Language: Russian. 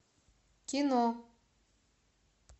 кино